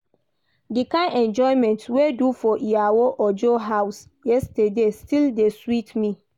The kyn enjoyment we do for Iyawo Ojo house yesterday still dey sweet me